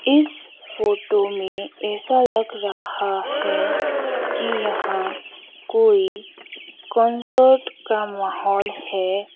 इस फोटो में ऐसा लग रहा है कि यहां कोई कंसर्ट का माहौल है।